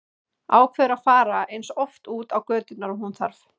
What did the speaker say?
Ákveður að fara eins oft út á göturnar og hún þarf.